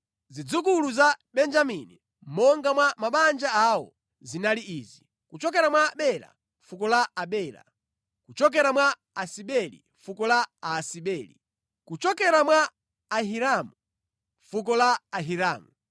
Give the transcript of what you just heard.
Zidzukulu za Benjamini monga mwa mabanja awo zinali izi: kuchokera mwa Bela, fuko la Abela; kuchokera mwa Asibeli, fuko la Aasibeli; kuchokera mwa Ahiramu, fuko la Ahiramu;